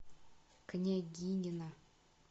княгинино